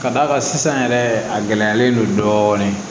Ka d'a kan sisan yɛrɛ a gɛlɛyalen don dɔɔnin